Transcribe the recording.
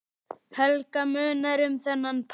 Helga: Munar um þennan pall?